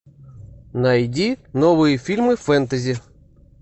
найди новые фильмы фэнтези